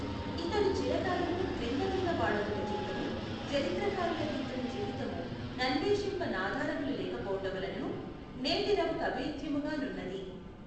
ఇతడు చిరకాలము క్రింద నున్న వాడగుటచేతను జరిత్రకారుల కీతని జీవితము నన్వేషింప నాధారములు లేకపోవుటవలనను నేటివఱ కభేద్యముగ నున్నది.